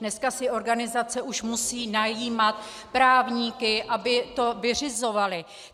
Dneska si organizace už musí najímat právníky, aby to vyřizovali.